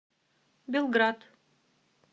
белград